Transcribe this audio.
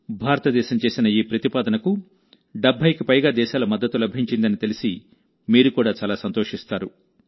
భారతదేశం చేసిన ఈ ప్రతిపాదనకు 70కి పైగా దేశాల మద్దతు లభించిందని తెలిసి మీరు కూడా చాలా సంతోషిస్తారు